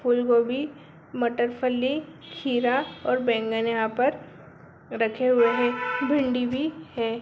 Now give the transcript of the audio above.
फूल गोभी मटर फली खीरा और बैंगन यहां पर रखे हुए हैं भिंडी भी है।